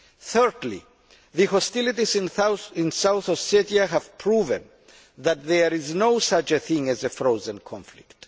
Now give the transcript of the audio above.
Thirdly, the hostilities in South Ossetia have proven that there is no such thing as a frozen conflict.